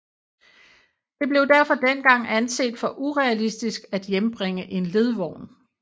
Det blev derfor dengang anset for urealistisk at hjembringe en ledvogn